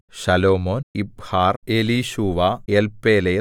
ശലോമോൻ യിബ്ഹാർ എലീശൂവ എൽപേലെത്ത്